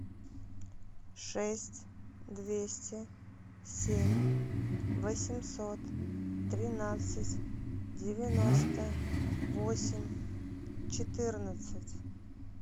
шесть двести семь восемьсот тринадцать девяносто восемь четырнадцать